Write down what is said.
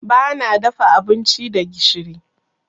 Bana dafa abinci da gishiri.